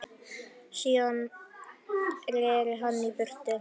Síðan reri hann í burtu.